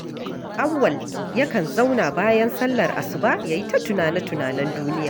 Auwal yakan zauna bayan sallar asuba ya yi ta tunane-tunanen duniya